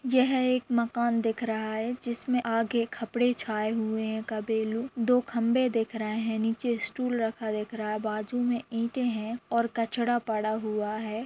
यह एक माकन दिख रहा है जिसमे आगे के खपड़े छाय हुए है दो खभे दिख रही है निचे स्टूल रखा दिख रहा है बाजु में इटे है और कचरा पड़ा हुआ है ।